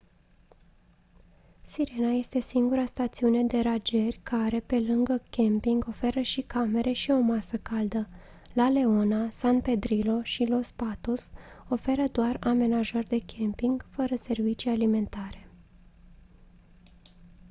sirena este singura stațiune de rangeri care pe lângă camping oferă și camere și o masă caldă la leona san pedrillo și los patos oferă doar amenajări de camping fără servicii alimentare